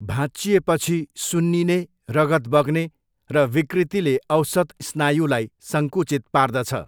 भाँच्चिएपछि, सुन्निने, रगत बग्ने, र विकृतिले औसत स्नायुलाई सङ्कुचित पार्दछ।